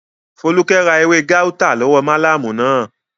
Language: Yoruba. Fólúkẹ́ ra ewé gáútà látọwọ́ málámù náà